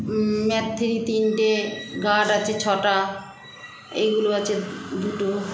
ম Mac three তিনটে guard আছে ছটা এইগুলো আছে দুটো